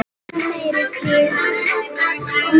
Leið samt vel.